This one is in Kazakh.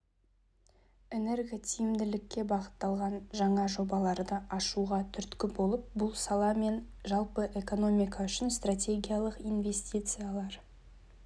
энерготиімділікке бағытталған жаңа жобаларды ашуға түрткі болып бұл сала мен жалпы экономика үшін стратегиялық инвестициялар